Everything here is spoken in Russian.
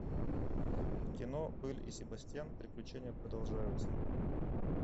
кино белль и себастьян приключения продолжаются